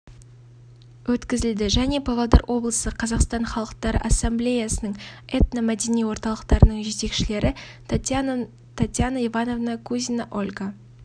өткізілді және павлодар облысы қазақстан халықтары ассамблеясының этно мәдени орталықтарының жетекшілері татьяна ивановна кузина ольга